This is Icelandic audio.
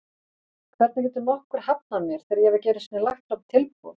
Hvernig getur nokkuð hafnað mér þegar ég hef ekki einu sinni lagt fram tilboð?